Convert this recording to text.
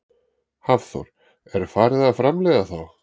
Hafþór: Er farið að framleiða þá?